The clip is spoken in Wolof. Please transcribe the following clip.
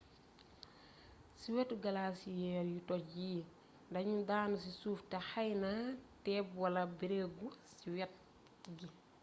ci wétu glaciers yu toj yi daanu ci suuf té xeeyna teeb wala beereegu ci wét gi